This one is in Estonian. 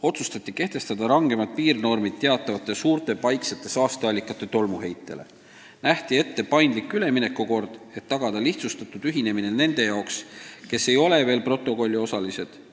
Otsustati kehtestada rangemad piirnormid teatavate suurte paiksete saasteallikate tolmuheitele, nähti ette paindlik üleminekukord, et tagada lihtsustatud ühinemine nende jaoks, kes ei ole veel protokolliosalised.